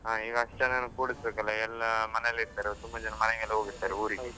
ಹಾ ಈಗ ಅಷ್ಟು ಜನನ ಕೊಡಿಸ್ಬೇಕಲ್ಲಾ ಎಲ್ಲಾ ಮನೆಯಲ್ಲಿ ಇರ್ತಾರೆ, ತುಂಬ ಜನ ಮನೆಗೆಲ್ಲ ಹೋಗಿರ್ತಾರೆ.